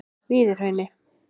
Víðihrauni